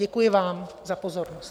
Děkuji vám za pozornost.